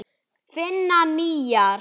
Finna nýjar.